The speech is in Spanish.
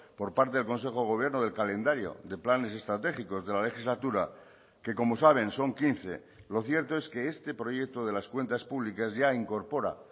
por parte del consejo de gobierno del calendario de planes estratégicos de la legislatura que como saben son quince lo cierto es que este proyecto de las cuentas públicas ya incorpora